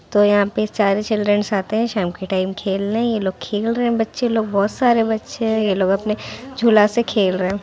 तो यहाँ पे सारे चिल्ड्रनस आते है शाम के टाइम खेलने ये लोग खेल रहे है बच्चे लोग बहुत सारे बच्चे है ये लोग अपने झूला से खेल रहे है।